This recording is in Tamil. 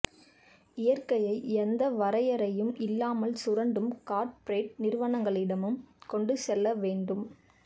இயற்கையை எந்த வரையறையும் இல்லாமல் சுரண்டும் கார்ப்பரேட் நிறுவனங்களிடமும் கொண்டுசெல்ல வேண்டும்